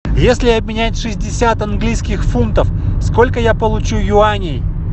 если обменять шестьдесят английских фунтов сколько я получу юаней